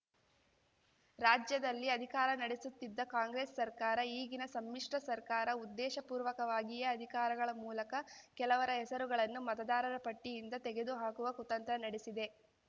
ರಾಜ್ಯದಲ್ಲಿ ಅಧಿಕಾರ ನಡೆಸುತ್ತಿದ್ದ ಕಾಂಗ್ರೆಸ್‌ ಸರ್ಕಾರ ಈಗಿನ ಸಮ್ಮಿಶ್ರ ಸರ್ಕಾರ ಉದ್ದೇಶಪೂರ್ವಕವಾಗಿಯೇ ಅಧಿಕಾರಗಳ ಮೂಲಕ ಕೆಲವರ ಹೆಸರುಗಳನ್ನು ಮತದಾರರ ಪಟ್ಟಿಯಿಂದ ತೆಗೆದುಹಾಕುವ ಕುತಂತ್ರ ನಡೆಸಿದೆ